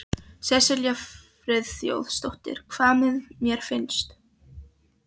Sesselja Friðþjófsdóttir: Hvað mér finnst?